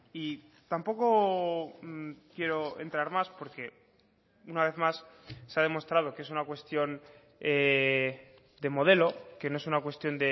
y tampoco quiero entrar más porque una vez más se ha demostrado que es una cuestión de modelo que no es una cuestión